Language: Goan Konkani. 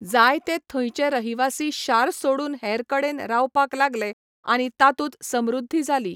जायते थंयचे रहिवासी शार सोडून हेरकडेन रावपाक लागले आनी तातूंत समृध्दी जाली.